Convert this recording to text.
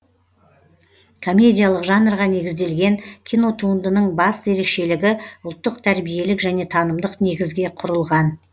комедиялық жанрға негізделген кинотуындының басты ерекшелігі ұлттық тәрбиелік және танымдық негізге құрылған